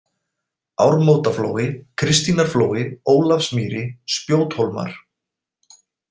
Ármótaflói, Kristínarflói, Ólafsmýri, Spjóthólmar